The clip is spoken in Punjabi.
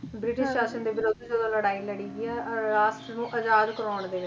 ਬ੍ਰਿਟਿਸ਼ ਸ਼ਾਸ਼ਨ ਦੇ ਵਿਰੁੱਧ ਜਦੋ ਲੜਾਈ ਲੜੀ ਗਈ ਆ ਅਹ ਰਾਸ਼ਟਰ ਨੂੰ ਆਜ਼ਾਦ ਕਰਾਉਣ ਦੇ ਵਿੱਚ